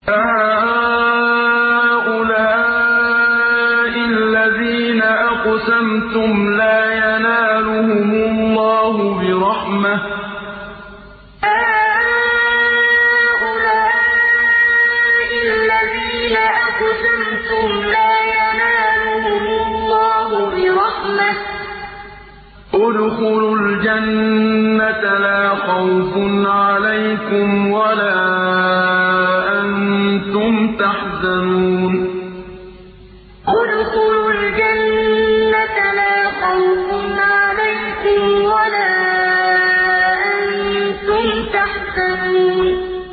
أَهَٰؤُلَاءِ الَّذِينَ أَقْسَمْتُمْ لَا يَنَالُهُمُ اللَّهُ بِرَحْمَةٍ ۚ ادْخُلُوا الْجَنَّةَ لَا خَوْفٌ عَلَيْكُمْ وَلَا أَنتُمْ تَحْزَنُونَ أَهَٰؤُلَاءِ الَّذِينَ أَقْسَمْتُمْ لَا يَنَالُهُمُ اللَّهُ بِرَحْمَةٍ ۚ ادْخُلُوا الْجَنَّةَ لَا خَوْفٌ عَلَيْكُمْ وَلَا أَنتُمْ تَحْزَنُونَ